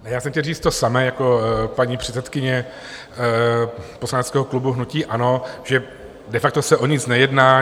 Já jsem chtěl říct to samé jako paní předsedkyně poslaneckého klubu hnutí ANO, že de facto se o nic nejedná.